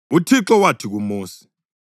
UThixo wathi kuMosi,